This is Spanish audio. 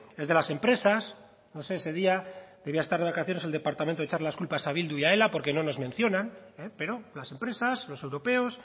es de las empresas no sé ese día debía estar de vacaciones el departamento de echar las culpas a bildu y a ela porque no nos mencionan pero las empresas los europeos